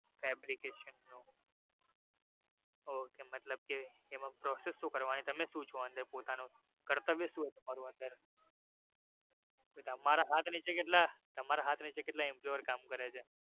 Fabrication નો ok મતલબ કે એમાં process શુ કરવાનું તમે સુ છો અંદર પોતાનું કર્તવ્ય સુ છે તમારું એમાં તમારા હાથ નીચે કેટલા તમારા હાથ નીચે કેટલા employee કામ કરે છે.